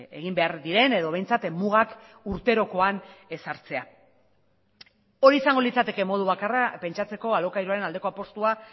egin behar diren edo behintzat mugak urterokoan ezartzea hori izango litzateke modu bakarra pentsatzeko alokairuaren aldeko apustua